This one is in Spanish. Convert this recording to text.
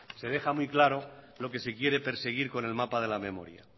se deja muy claro lo que se quiere perseguir con el mapa de la memoria